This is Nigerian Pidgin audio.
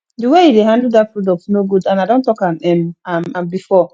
the way you dey handle dat product no good and i don talk um am am before